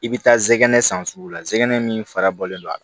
I bɛ taa zɛgɛnɛ san sugu la zɛgɛn min fara bɔlen don a kan